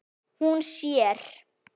Hún sér